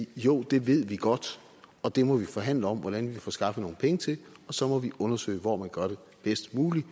jo det ved vi godt og det må vi forhandle om hvordan vi kan få skaffet nogle penge til og så må vi undersøge hvor man gør det bedst muligt